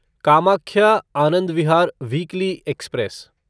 Kamakhya Anand Vihar weekly express